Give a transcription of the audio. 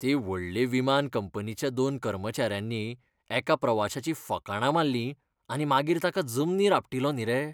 ते व्हडले विमान कंपनीच्या दोन कर्मचाऱ्यांनी एका प्रवाशाचीं फकांणां मारली आनी मागीर ताका जमनीर आपटिलो न्ही रे.